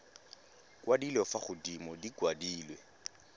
kwadilwe fa godimo di kwadilwe